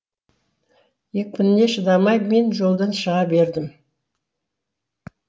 екпініне шыдамай мен жолдан шыға бердім